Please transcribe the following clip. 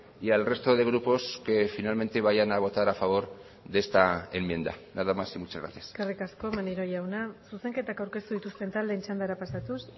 y al resto de grupos que finalmente vayan a votar a favor de esta enmienda nada más y muchas gracias eskerrik asko maneiro jauna zuzenketak aurkeztu dituzten taldeen txandara pasatuz